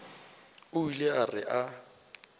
o ile a re a